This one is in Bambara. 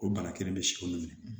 O bana kelen bɛ si kolon minɛ